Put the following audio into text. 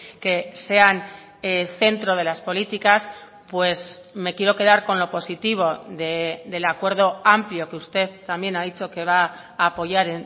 que sean centro de las políticas pues me quiero quedar con lo positivo del acuerdo amplio que usted también ha dicho que va a apoyar